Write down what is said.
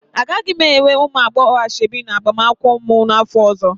Agaghị m enwe ụmụ agbọghọ ashebi n'agbamakwụkwọ m n'afọ ọzọ.